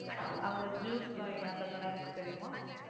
அங்க Juice buy அந்த கடை இருக்கு தெரியுமா?